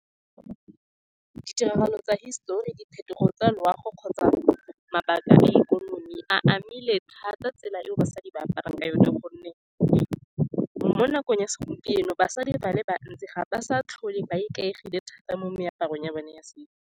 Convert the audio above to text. Ditiragalo tsa hisitori, diphetogo tsa loago, kgotsa mabaka a ikonomi a amile thata tsela e basadi ba aparang ka yone, ka gonne mo nakong ya segompieno basadi ba le bantsi ga ba sa tlhole ba ikaegile thata mo meaparong ya bone ya setso.